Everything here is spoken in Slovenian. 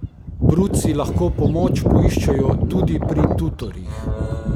Bruci lahko pomoč poiščejo tudi pri tutorjih.